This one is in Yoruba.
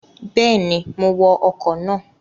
Bẹ́ẹ̀ni, mo wọ ọkọ̀ náà